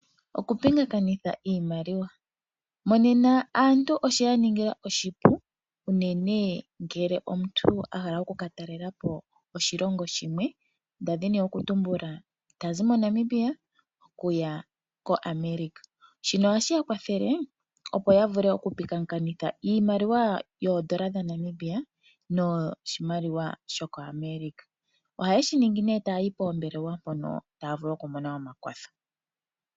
Okupingakanitha iimaliwa Monena aantu oshe ya ningila oshipu, unene ngele omuntu a hala oku ka talela po oshilongo shimwe nda dhini okutumbula ta zi moAmerica opo ya vule okupingakanitha iimaliwa yoodola dhaNamibia noshimaliwa shokoAmerica. Ohaye shi ningi nduno taya yi poombelwa mpono taya vulu okumona omakwatho.